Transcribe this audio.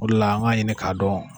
O de la an k'a ɲini k'a dɔn